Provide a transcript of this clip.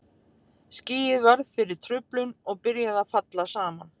Skýið varð fyrir truflun og byrjaði að falla saman.